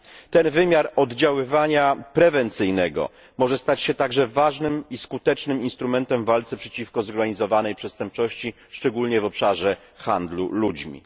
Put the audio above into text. Ten wymiar oddziaływania prewencyjnego może stać się także ważnym i skutecznym instrumentem w walce przeciwko zorganizowanej przestępczości, szczególnie w obszarze handlu ludźmi.